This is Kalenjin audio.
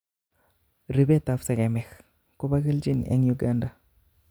Ripetap segemik ko po kelchin en Uganda